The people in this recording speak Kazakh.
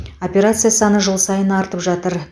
операция саны жыл сайын артып жатыр